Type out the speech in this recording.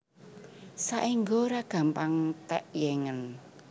Saéngga ora gampang tékyéngen